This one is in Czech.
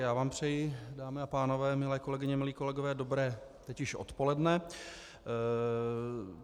Já vám přeji, dámy a pánové, milé kolegyně, milí kolegové, dobré teď už odpoledne.